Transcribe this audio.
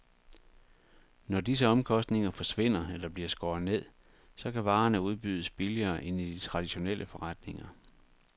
Når disse omkostninger forsvinder eller bliver skåret ned, så kan varerne udbydes billigere end i de traditionelle forretninger.